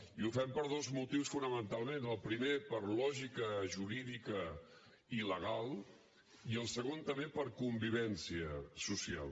i ho fem per dos motius fonamentalment el primer per lògica jurídica i legal i el segon també per convivència social